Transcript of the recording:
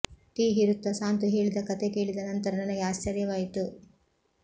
tea ಹೀರುತ್ತಾ ಸಾಂತು ಹೇಳಿದ ಕತೆ ಕೇಳಿದ ನಂತರ ನನಗೆ ಆಶ್ಚರ್ಯವಾಯಿತು